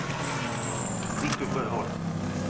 Viktor Sjöholm